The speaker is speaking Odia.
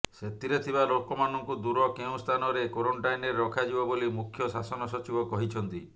ସେଥିରେ ଥିବା ଲୋକମାନଙ୍କୁ ଦୂର କେଉଁ ସ୍ଥାନରେ କ୍ୱାରେଣ୍ଟାଇନରେ ରଖାଯିବ ବୋଲି ମୁଖ୍ୟ ଶାସନ ସଚିବ କହିଛନ୍ତି